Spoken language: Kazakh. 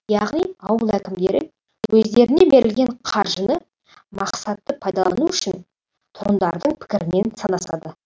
яғни ауыл әкімдері өздеріне берілген қаржыны мақсатты пайдалану үшін тұрғындардың пікірімен санасады